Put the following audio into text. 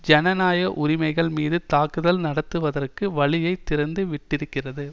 ஜனநாயக உரிமைகள் மீது தாக்குதல் நடத்துவதற்கு வழியை திறந்து விட்டிருக்கிறது